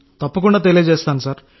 అవును